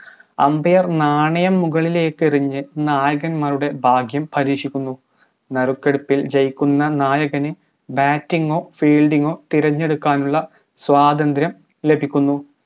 umbair നാണയം മുകളിലെക്കെറിഞ്ഞ് നായകൻ മാരുടെ ഭാഗ്യം പരീക്ഷിക്കുന്നു നറുക്കെടുപ്പിൽ വിജയിക്കുന്ന നായകന് batting ഓ field ഓ തിരഞ്ഞെടുക്കാനുള്ള സ്വാതന്ത്രം ലഭിക്കുന്നു